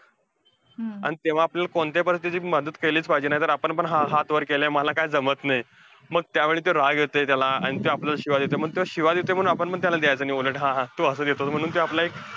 आणि तेव्हा आपण कोणत्याही परिस्थितीत मदत केलीच पाहिजे. नाहीतर आपण पण हा~ हात वर केलेय, मला काय जमत नाही, मग त्या वेळेस राग येतोय, त्याला आणि त्यो आपल्याला शिव्या देतोय, आणि तो शिव्या देतोय. म्हणून आपण पण त्याला द्यायचं नाही उलट हा हा. तू असं देतो, म्हणून ते आपलं एक,